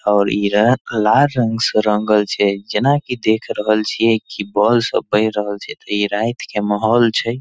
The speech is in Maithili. ओर इ रैक लाल रंग से रंगल छैजेना की देख रहल छीये की बोल सब बेर रहल छै ते इ रात के माहौल छै।